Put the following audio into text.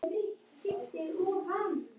Og að henni ber að vera henni góð móðir.